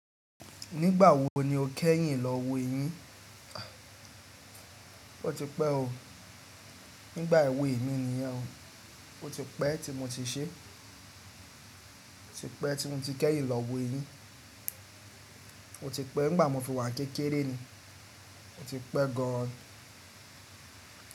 Nígbà wo ni o kẹ́yìn lọ wo eyín? Ó ti pẹ́ o. Nígbà èwe è mi nìyẹn o. O ti pẹ́ tí mo ti ṣe. O ti pẹ́ tí mo ti kẹ́yìn lọ wo eyín. O ti pẹ́ nígbà mo fi wà ní kékeré ni. O ti pẹ́ gan an.